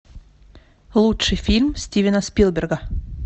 лучший фильм стивена спилберга